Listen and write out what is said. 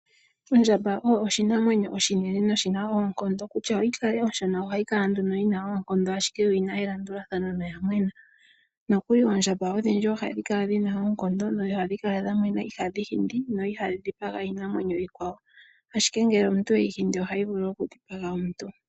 Ondjamba oyo oshinamwenyo oshinene sho oshina oonkondo . Kutya yikale onshona oha yi kala yi na oonkondo ashike yo o yi na elandulathano yo oya mwena. Nokuli oondjamba odhindji ohadhikala dhina oonkondo dho ohadhi kala dhamwena ihadhi hindi dho iha dhi dhipaga iinamwenyo iikwawo ,ashike ngele omuntu e yi hindi ohayi vulu okudhipaga omuntu.